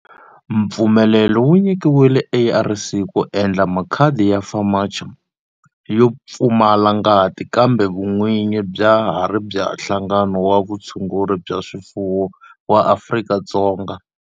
Mpfumelelo wu nyikiwile ARC ku endla makhadi ya FAMACHA yo pfumala ngati kambe vun'winyi bya ha ri bya Nhlangano wa Vutshunguri bya swifuwo wa Afrika-Dzonga.